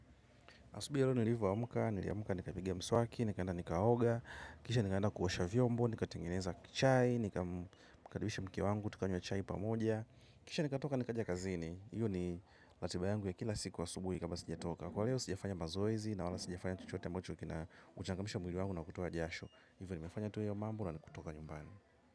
Asubuhi ya leo nilivoamka, niliamuka nikapiga mswaki, nikaenda nikaoga, kisha nikaenda kuosha vyombo, nikatengeneza chai, nikalisha mke wangu, tukanywa chai pamoja. Kisha nikatoka nikaja kazini, hiyo ni ratiba yangu ya kila siku asubuhi kama sijatoka. Kwa leo sijafanya mazoezi na wala sijafanya chochote ambacho kina uchangamsha mwili wangu na kutoa jasho. Hivyo nimefanya tu iyo mambo na kutoka nyumbani.